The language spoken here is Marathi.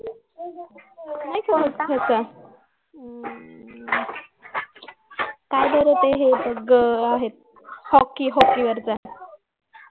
ह्याचा हम्म काय बरं ते हे आहेत hockey वरचा